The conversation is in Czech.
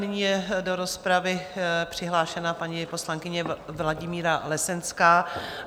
Nyní je do rozpravy přihlášená paní poslankyně Vladimíra Lesenská.